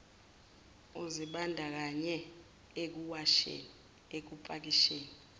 uzibandakanye ekuwasheni ekupakisheni